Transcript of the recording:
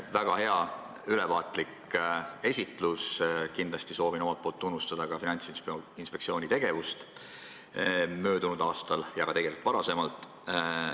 Väga hea, ülevaatlik esitlus ja kindlasti soovin omalt poolt tunnustada Finantsinspektsiooni tegevust möödunud aastal ja tegelikult ka varem.